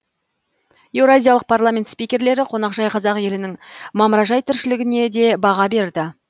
еуразиялық парламент спикерлері қонақжай қазақ елінің мамыражай тіршілігіне де баға берді